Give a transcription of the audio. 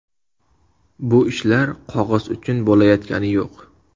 Bu ishlar qog‘oz uchun bo‘layotgani yo‘q.